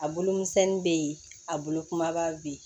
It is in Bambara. A bolo misɛnnin bɛ yen a bolo kumaba bɛ yen